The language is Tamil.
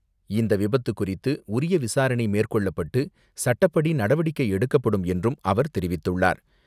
இந்த விபத்து குறித்து உரிய விசாரணை மேற்கொள்ளப்பட்டு சட்டப்படி நடவடிக்கை எடுக்கப்படும் என்றும் அவர் தெரிவித்துள்ளார்.